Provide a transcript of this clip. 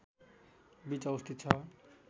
बीच अवस्थित छ